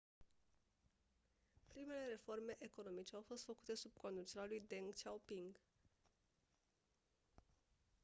primele reforme economice au fost făcute sub conducerea lui deng xiaoping